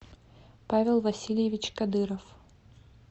павел васильевич кадыров